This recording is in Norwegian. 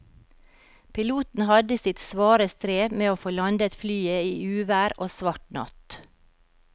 Piloten hadde sitt svare strev med å få landet flyet i uvær og svart natt.